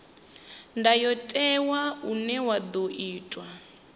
ndayotewa une wa ḓo itwa